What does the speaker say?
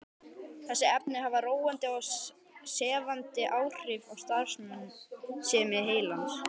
Þessi efni hafa róandi og sefandi áhrif á starfsemi heilans.